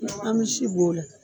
An misi b'o la.